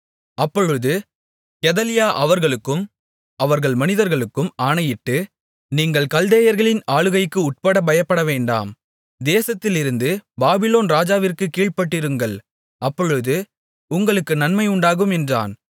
அப்பொழுது கெதலியா அவர்களுக்கும் அவர்கள் மனிதர்களுக்கும் ஆணையிட்டு நீங்கள் கல்தேயர்களின் ஆளுகைக்கு உட்பட பயப்படவேண்டாம் தேசத்திலிருந்து பாபிலோன் ராஜாவிற்குக் கீழ்ப்பட்டிருங்கள் அப்பொழுது உங்களுக்கு நன்மை உண்டாகும் என்றான்